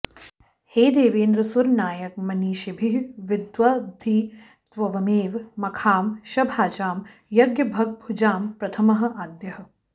हे देवेन्द्र सुरनायक मनीषिभिः विद्वद्भिः त्वमेव मखांशभाजां यज्ञभगभुजां प्रथमः आद्यः